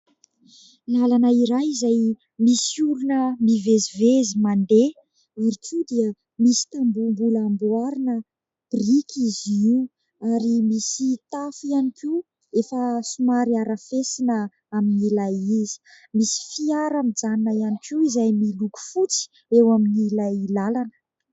Lalana iray izay misy olona mivezivezy mandeha ary koa dia misy tamboho mbola amboarina biriky izy io ary misy tafo ihany koa efa somary arafesina amin'ny ilay izy. Misy fiara mijanona ihany koa izay miloko fotsy eo amin'ny ilay lalana.